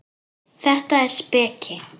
Þetta er speki.